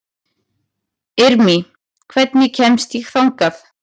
Irmý, hvernig kemst ég þangað?